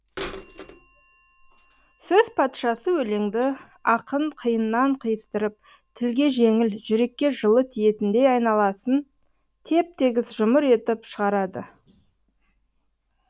сөз патшасы өлеңді ақын қиыннан қиыстырып тілге жеңіл жүрекке жылы тиетіндей айналасын теп тегіс жұмыр етіп шығарады